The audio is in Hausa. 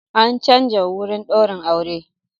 An canza wurin daurin aure.